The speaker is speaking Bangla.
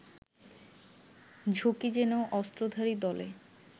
ঝুঁকি জেনেও অস্ত্রধারী দলে